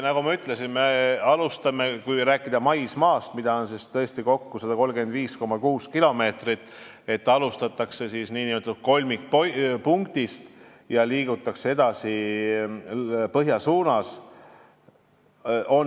Nagu ma ütlesin, kui rääkida maismaapiirist, mida on tõesti kokku 135,6 kilomeetrit, et alustatakse nn kolmikpunktist ja liigutakse edasi põhja suunas.